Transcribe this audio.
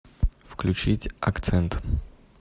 включить акцент